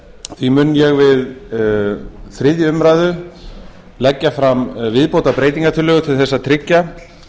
því mun ég við þriðju umræðu leggja fram viðbótarbreytingartillögu til þess að tryggja